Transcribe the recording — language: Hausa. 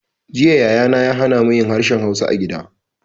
Jiya Yaya na ya hana mu yin harshen hausa a gida